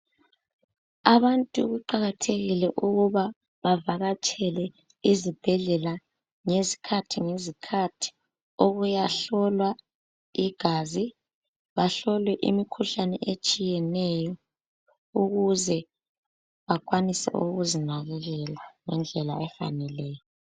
Abantu kuqakathekile ukuba bavakatshele izibhedlela ngesikhathi ngezikhathi ukuya hlolwa igazi, bahlolwe imikhuhlane etshiyeneyo ukuze bakwanise ukuzinakekela ngendlela efaneleyo.